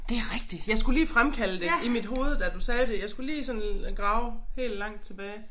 Det rigtigt. Jeg skulle lige fremkalde det i mit hoved da du sagde det jeg skulle lige sådan grave helt langt tilbage